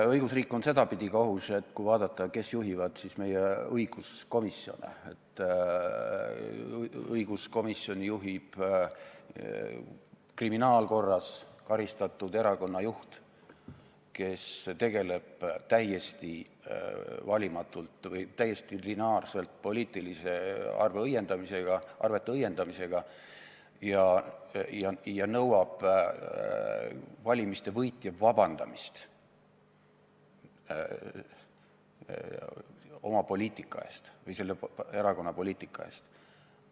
Õigusriik on ka sedapidi ohus, et kui vaadata, kes juhivad meie komisjone, siis õiguskomisjoni juhib kriminaalkorras karistatud erakonna juht, kes tegeleb täiesti valimatult, täiesti lineaarselt poliitiliste arvete õiendamisega ja nõuab valimiste võitja vabandamist oma poliitika või selle erakonna poliitika eest.